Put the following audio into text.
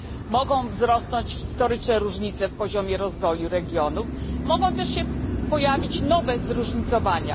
Mogą wzrosnąć historyczne różnice w poziomie rozwoju regionów, mogą też się pojawić nowe zróżnicowania.